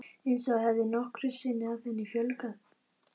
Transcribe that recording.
Eins og það hefði nokkru sinni að henni flögrað.